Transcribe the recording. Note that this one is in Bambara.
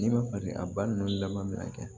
N'i ma fali a ba ninnu laban min na